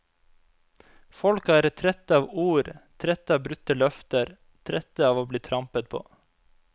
Folk er trette av ord, trette av brutte løfter, trette av å bli trampet på.